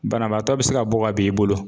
Banabaatɔ be se ka bɔ ka bin i bolo